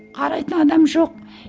қарайтын адам жоқ